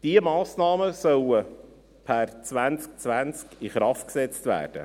Diese Massnahmen sollen per 2020 in Kraft gesetzt werden.